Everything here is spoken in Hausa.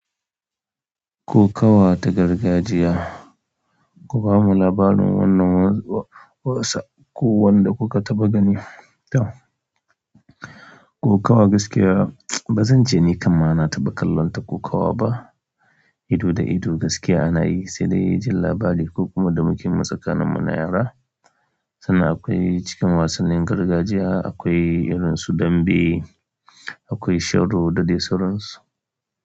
Kokawa da gargajiya, ku bamu labarin wannan wasa ko wanda kuka taɓa gani. Kokawa gaskiya ba zan je ni kaman na taɓa kallon ta kokawa ba, ido da ido gaskiya ana yi sai dai jin labari ko kuma da muke masaƙa na muna yara. Sannan akwai cikin wasannin gargajiya akwai irin su dambe, akwai sharo da dai sauran su.